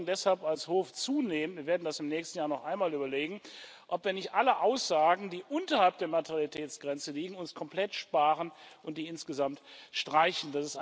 Wir überlegen deshalb als Hof zunehmend wir werden das im nächsten Jahr noch einmal überlegen ob wir uns nicht alle Aussagen, die unterhalb der Materialitätsgrenze liegen, komplett sparen und die insgesamt streichen.